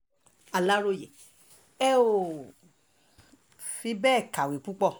aláròye ẹ um ò fi bẹ́ẹ̀ kàwé púpọ̀